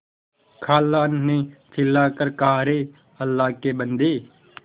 खाला ने चिल्ला कर कहाअरे अल्लाह के बन्दे